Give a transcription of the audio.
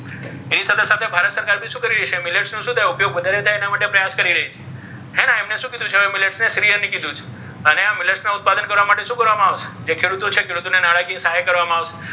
એની સાથે સાથે ભારત સરકાર શું કરશે? millets નું શું થાય ઉદ્યોગ વધારે થાય. એના માટે પ્રયાસ કરી રહી છે. હે ને એમણે millets શું કીધું છે ને શ્રી અન્ન કીધું છે. અને આ millets ના ઉત્પાદન કરવા માટે શું કરવામાં આવે? ખેડૂતો છે ખેડૂતોને નાણાકીય સહાય કરવામાં આવશે.